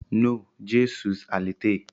No, je suis à l'été